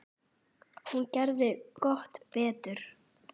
Hún gerði gott betur.